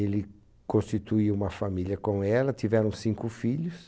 Ele constituiu uma família com ela, tiveram cinco filhos.